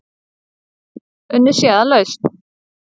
Unnið sé að lausn.